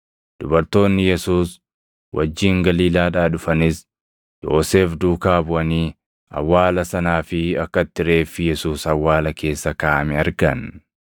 Dubartoonni Yesuus wajjin Galiilaadhaa dhufanis Yoosef duukaa buʼanii awwaala sanaa fi akka itti reeffi Yesuus awwaala keessa kaaʼame argan.